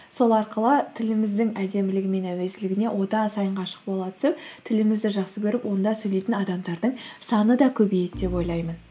сол арқылы тіліміздің әдемілігі мен әуезділігіне одан сайын ғашық бола түсіп тілімізді жақсы көріп онда сөйлейтін адамдардың саны да көбейеді деп ойлаймын